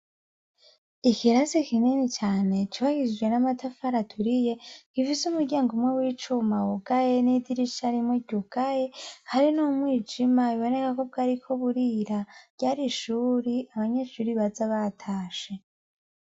Ikirasi kinini cane cubakishijwe n'amatafari aturiye gifise umuryango w'icuma wugaye n'idirisha rimwe ryugaye hari n'umwijima biboneka ko bwariko burira, ryari ishure abanyeshure baza batashe.